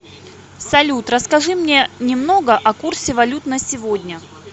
салют расскажи мне немного о курсе валют на сегодня